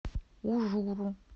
ужуру